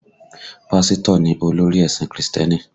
Pásítọ̀ ni olórí ẹ̀sìn Krìstẹ́nì